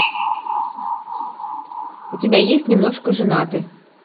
у тебя есть немножко женаты